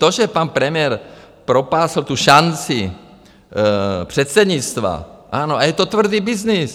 To, že pan premiér propásl tu šanci předsednictva - ano, a je to tvrdý byznys.